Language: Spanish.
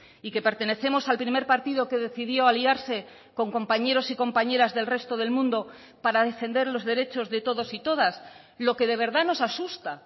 y que pertenecemos al primer partido que decidió aliarse con compañeros y compañeras del resto del mundo para defender los derechos de todos y todas lo que de verdad nos asusta